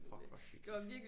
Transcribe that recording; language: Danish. Fuck hvor hyggeligt